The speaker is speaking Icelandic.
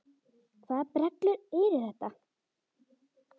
Hvaða brellur eru þetta?